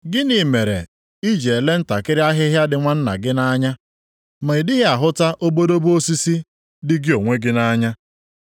“Gịnị mere i ji elee ntakịrị ahịhịa dị nwanna gị + 7:3 Nwanna gị onye agbataobi gị. nʼanya ma ị dịghị ahụta obodobo osisi dị gị onwe gị nʼanya?